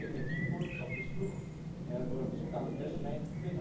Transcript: Ik was vorige week in Nieuwpoort, 's ochtends vroeg, voor een bezoek aan de vismijn.